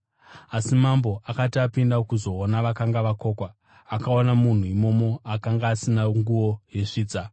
“Asi mambo akati apinda kuzoona vakanga vakokwa, akaona munhu imomo akanga asina nguo yesvitsa.